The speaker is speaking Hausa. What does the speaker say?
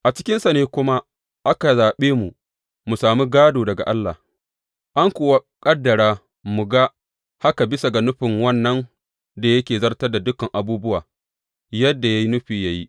A cikinsa ne kuma aka zaɓe mu mu sami gādo daga Allah, an kuwa ƙaddara mu ga haka bisa ga nufin wannan da yake zartar da dukan abubuwa yadda ya yi nufi yă yi.